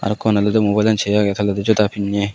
ekkon olodey mubayel an sey agey toledi joda pinney.